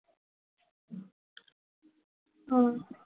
হম